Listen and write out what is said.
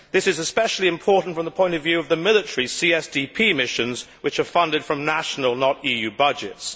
This is especially important from the point of view of the military CSDP missions, which are funded from national, not EU, budgets.